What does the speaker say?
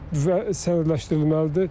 Və sənədləşdirilməlidir.